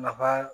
Nafa